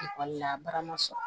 Ekɔli la a baara ma sɔrɔ